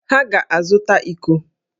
Ha ga-azụta íkó